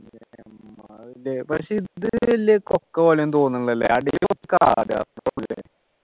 പക്ഷെ ഇത് വല്യ കൊക്കപോലെയൊന്നും തോന്നുന്നില്ല അല്ലെ അടിയില് കുറച്ചു കാട്